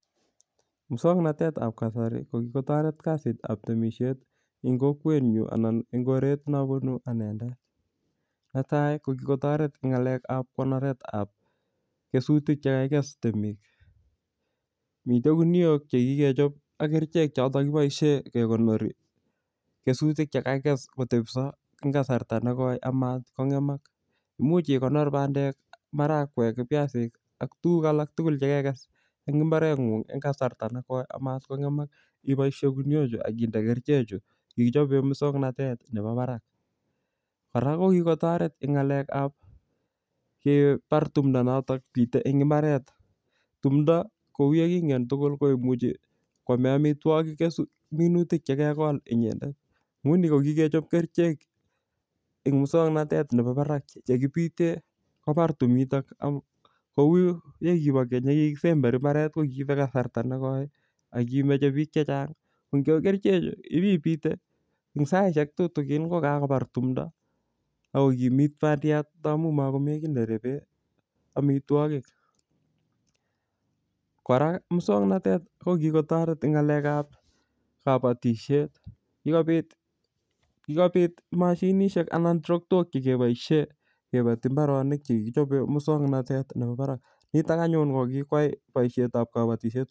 Muswagnatetab kasari, ko kikotoret kasitap temisiet eng kokwet nyuu, anan eng koret neabunu anendet. Netai, ko kikotoret eng ng'alekap konoretap kesutik che kakikes temik. Mitei guniok che kikechop ak kerichek chotok kiboisie kekonori kesutik chekakikes kotepsoo eng kasarta nekoi amatkongemak. Imuch ikonor bandek, marakwek, ak viazik, ak tuguk alak tugul chekekes en mbaret ng'ung eng kasarta ne koi amatkongemak. Ngiboisie guniok chu akinde kerichek chu kikichope muswagnatetab nebo barak. Kora, ko kikotoret eng ng'alekap kebar tumdo notok bitei eng mbaret. Tumdo, ko kou yekingen tugul koimuchi kwame amitwogik minutik chekegol inyendet. Nguni ko kikechop kerichek eng muswagnatet nebo barak chekibite kobar tumitok. Kou yekibo keny, yekikisemberi mbaret, ko kiibe kasarta ne koi, akimeche biik chechang. Ko eng kerichek chu, ibibite. Eng saishek tutukin ko kakobar tumdo akokimit bandiat amu amkomi kiy nerebe amitwogik. Kora, muswaganet ko kikotoret eng ng'alekap kabatishiet. Kikobit-kikobit mashinishek anan trotok che keboisie kebati mbaronik che kikichope muswagnatet nebo barak. Nitok anyun ko kikwai boisietap kabatisiet